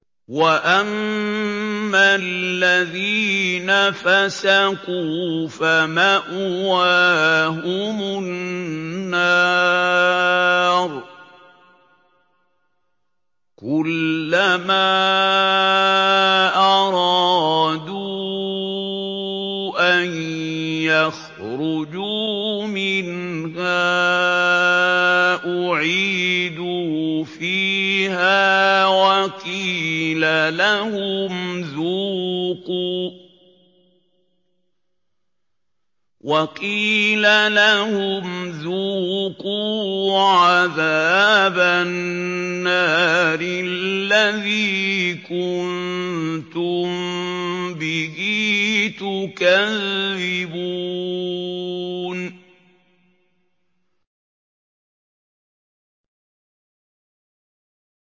وَأَمَّا الَّذِينَ فَسَقُوا فَمَأْوَاهُمُ النَّارُ ۖ كُلَّمَا أَرَادُوا أَن يَخْرُجُوا مِنْهَا أُعِيدُوا فِيهَا وَقِيلَ لَهُمْ ذُوقُوا عَذَابَ النَّارِ الَّذِي كُنتُم بِهِ تُكَذِّبُونَ